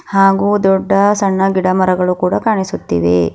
ಹಾಗೂ ದೊಡ್ಡ ಸಣ್ಣ ಗಿಡ ಮರಗಳು ಕೂಡ ಕಾಣಿಸುತ್ತಿವೆ.